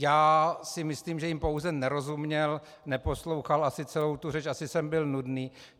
Já si myslím, že jim pouze nerozuměl, neposlouchal asi celou tu řeč, asi jsem byl nudný.